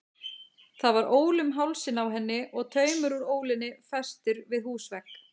Það var ól um hálsinn á henni og taumur úr ólinni festur við húsvegg.